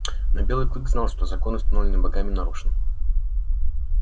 но белый клык знал что закон установленный богами нарушен